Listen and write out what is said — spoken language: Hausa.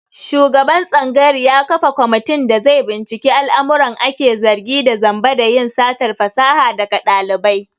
Shugaban tsangayar ya kafa komitin da zai binciki al'amuran ake zargi da zamba da yin satar fasaha daga ɗalibai.